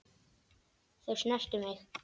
Þau snertu mig.